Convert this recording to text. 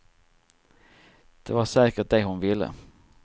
Det var säkert det hon ville.